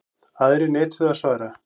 Aðrir neituðu að svara.